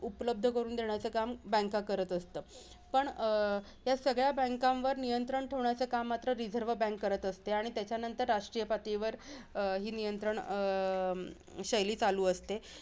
उपलब्ध करून देण्याच काम banks करत असतात. पण अं ह्या सगळ्या banks वर नियंत्रण ठेवण्याचं काम मात्र रिझर्व बँक करत असते. आणि त्याच्या नंतर राष्ट्रीय पातळीवर अं नियंत्रण अं शैली चालू असते.